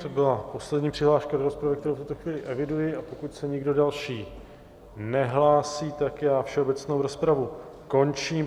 To byla poslední přihláška do rozpravy, kterou v tuto chvíli eviduji, a pokud se nikdo další nehlásí, tak já všeobecnou rozpravu končím.